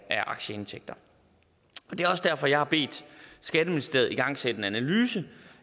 af aktieindtægter det er også derfor jeg har bedt skatteministeriet om at igangsætte en analyse